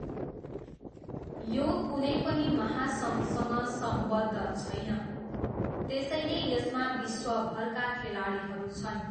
यो कुनै पनि महासङ्घसँग सम्बद्ध छैन, त्यसैले यसमा विश्वभरका खेलाडीहरू छन्।